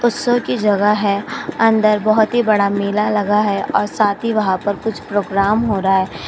उत्सव की जगह है। अंदर बहुत ही बड़ा मेला लगा है और साथी वहां पर कुछ प्रोग्राम हो रहा है।